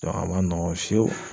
a ma nɔgɔn fiyewu.